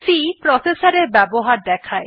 C processor এর ব্যবহার দেখায়